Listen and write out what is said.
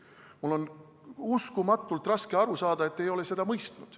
Mul on uskumatult raske aru saada, et te ei ole seda mõistnud.